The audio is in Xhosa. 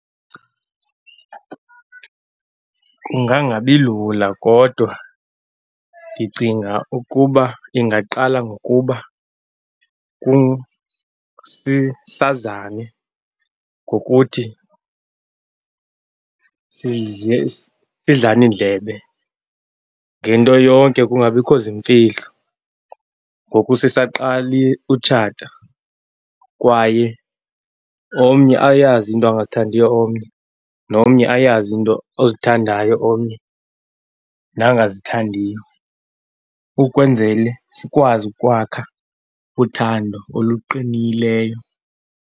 Kungangabi lula, kodwa ndicinga ukuba ingaqala ngokuba sazane ngokuthi sidlane indlebe ngento yonke, kungabikho zimfihlo ngoku sisaqala ukutshata, kwaye omnye ayazi into angazithandiyo omnye, nomnye ayazi into ozithandayo omnye nangazithandiyo, ukwenzela sikwazi ukwakha uthando oluqinileyo.